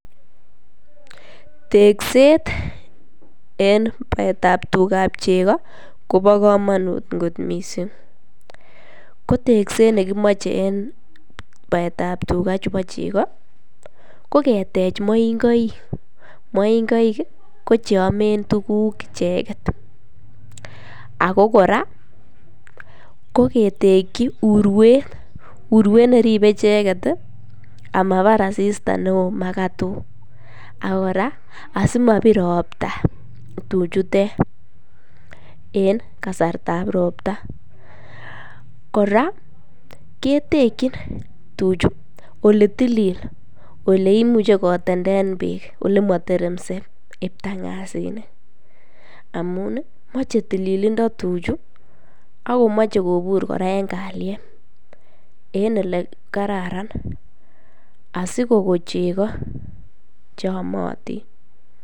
Tekset en baetab tugab cheko Kobo komonut kot missing ko tekset nekimoche en baetab tugaa chebo cheko ko keteche mongoik, moingoik ko cheome tukuk icheket ako Koraa ko keteki uruet uruet neribe ncheket tii amabara asista neo makatok ako Koraa simobir ropta tichutet en kasartab ropta. Koraa ketekin tuchuu oletilil oleimuche kiteten beek olemoteremse ibtangasinik amuni moche tililindo tuchuu aK komoche Koraa kobur en kalyet en ele kararan asikokon cheko cheyomotin.